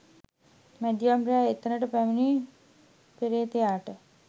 මැදියම් රෑ එතැනට පැමිණි පේ්‍රතයාට